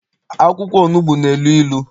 Akwụkwọ onugbu na- elu ilu.